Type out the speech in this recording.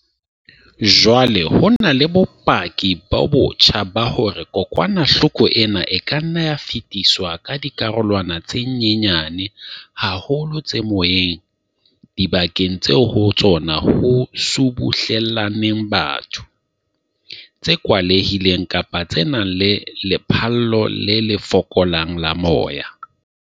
Jwale ho na le bopaki bo botjha ba hore kokwanahloko ena e ka nna ya fetiswa ka dikarolwana tse nyenyane haholo tse moyeng dibakeng tseo ho tsona ho subuhlellaneng batho, tse kwalehileng kapa tse nang le lephallo le fokolang la moya.